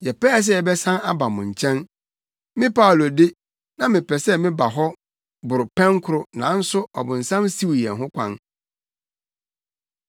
Yɛpɛɛ sɛ yɛbɛsan aba mo nkyɛn. Me Paulo de, na mepɛ sɛ meba hɔ boro pɛnkoro nanso ɔbonsam siw yɛn ho kwan.